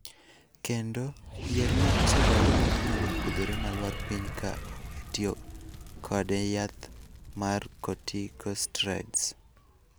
Kendo, yier ma osedongo kendo nyalo pudhore ma lwar piny ka owe tiyo kod yath mar corticosteriods.